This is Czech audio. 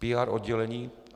PR oddělení?